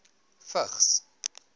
vigs